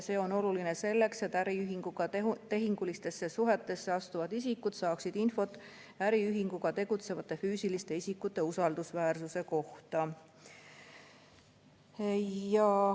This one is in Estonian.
See on oluline selleks, et äriühinguga tehingulistesse suhetesse astuvad isikud saaksid infot äriühinguga tegutsevate füüsiliste isikute usaldusväärsuse kohta.